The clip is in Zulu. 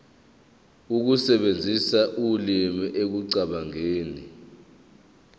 ukusebenzisa ulimi ekucabangeni